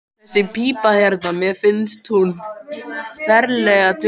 Þessi pípa hérna. mér finnst hún ferlega dularfull.